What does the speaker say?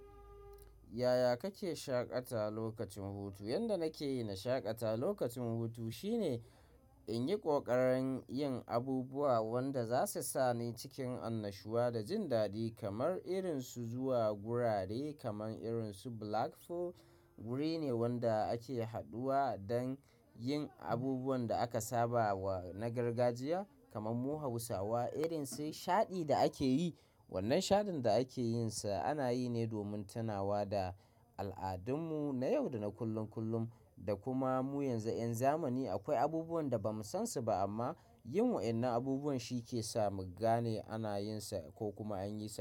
Yaya kake shaƙata lokacin hutu? Yanda nake yi na shaƙata lokacin hutu shine in yi ƙoƙarin yin abubuwa wanda za su sa ni cikin annashuwa da jin daɗi kamar irin su zuwa gurare kamar irin su Black Fo. Wuri ne wanda ake haduwa don yin abubuwan da aka saba wa na gargajiya kamar mu Hausawa irin sai shaɗi da ake yi. Wannan shaɗin da ake yinsa ana yi ne domin tunawa da al'adunmu na yau da na kullum kullum da kuma mu yanzu 'yan zamani akwai abubuwan da ba mu san su ba amma yin wa'inan abubuwan shi ke sa mu gane ana yin sa ko kuma an yi sa.